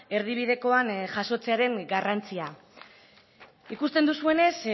erdibidekoan jasotzearen garrantzia ikusten duzuenez